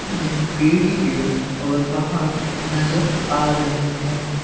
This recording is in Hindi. यानी पेड़ ही पेड़ और पहाड़ नजर आ रहे हैं।